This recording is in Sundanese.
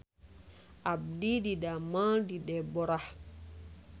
Abdi didamel di Deborah